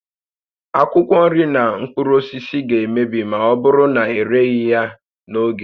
Akwụkwọ nri na mkpụrụ osisi ga-emebi ma ọ bụrụ na ereghị ha n'oge